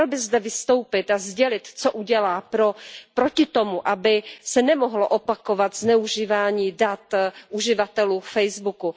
Měl by zde vystoupit a sdělit, co udělá proti tomu, aby se nemohlo opakovat zneužívání dat uživatelů Facebooku.